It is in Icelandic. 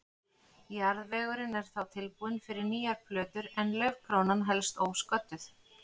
Jarðvegurinn er þá tilbúinn fyrir nýjar plöntur en laufkrónan helst ósködduð.